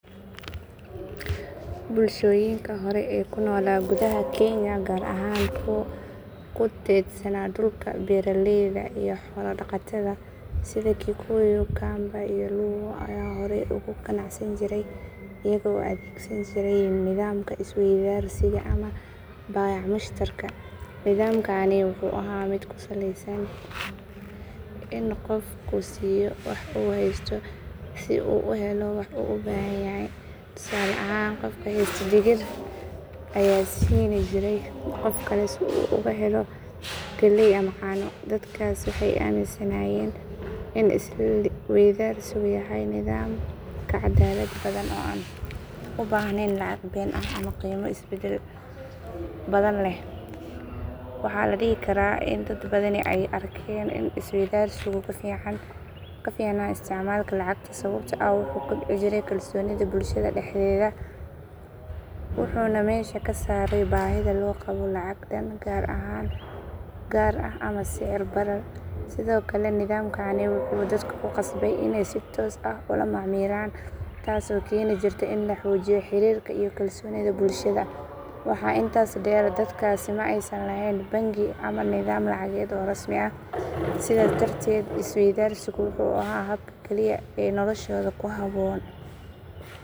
Bulshooyinka hore ee ku noolaa gudaha Kenya, gaar ahaan kuwa ku teedsanaa dhulka beeraleyda iyo xoolo-dhaqatada sida Kikuyu, Kamba, iyo Luo, ayaa horey uga ganacsan jiray iyaga oo adeegsan jiray nidaamka isweydaarsiga ama baayac-mushtarka. Nidaamkani wuxuu ahaa mid ku saleysan in qofku siiyo wax uu haysto si uu u helo wax uu u baahan yahay, tusaale ahaan qof haysta digir ayaa siin jiray qof kale si uu uga helo galley ama caano. Dadkaasi waxay aaminsanaayeen in isweydaarsigu yahay nidaam ka cadaalad badan oo aan u baahnayn lacag been ah ama qiimo is beddel badan leh. Waxaa la dhihi karaa in dad badani ay arkeen in isweydaarsigu ka fiicnaa isticmaalka lacagta sababtoo ah wuxuu kobcin jiray kalsoonida bulshada dhexdeeda, wuxuuna meesha ka saarayay baahida loo qabo lacag dhan gaar ah ama sicir barar. Sidoo kale, nidaamkani wuxuu dadka ku khasbayay inay si toos ah ula macaamilaan, taasoo keeni jirtay in la xoojiyo xiriirka iyo kalsoonida bulshada. Waxaa intaas dheer, dadkaasi ma aysan lahayn bangiyo ama nidaam lacageed oo rasmi ah, sidaas darteed isweydaarsigu wuxuu ahaa habka kaliya ee noloshooda ku habboonaa. Inkasta oo lacagtu fududeysay ganacsiga markii dambe, haddana dad badan waxay xasuustaan isweydaarsiga sidii nidaam cadaalad iyo sinnaan lahaa.